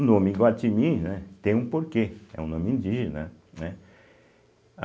O nome Iguatimi né tem um porquê, é um nome indígena, né.